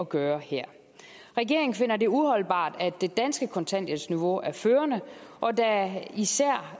gøre her regeringen finder det uholdbart at det danske kontanthjælpsniveau er førende og da især